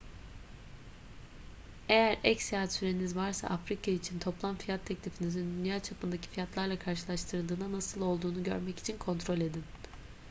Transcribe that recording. eğer ek seyahat süreniz varsa afrika için toplam fiyat teklifinizin dünya çapındaki fiyatlarla karşılaştırıldığına nasıl olduğunu görmek için kontrol edin